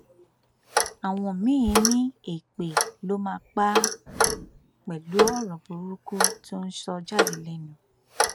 àwọn míín ní èpè ló máa pa àpẹlú ọrọ burúkú tó ń sọ jáde lẹnu náà